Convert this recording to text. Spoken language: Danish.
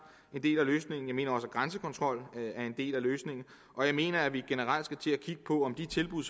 en del af løsningen jeg mener også at grænsekontrol er en del af løsningen og jeg mener at vi generelt set skal kigge på de tilbud